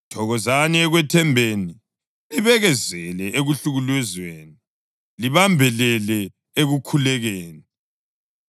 Thokozani ekwethembeni, libekezele ekuhlukuluzweni, libambelele ekukhulekeni.